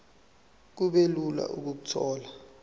kube lula ukuthola